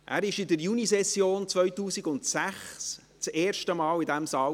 Er sass in der Junisession 2006 zum ersten Mal hier im Saal.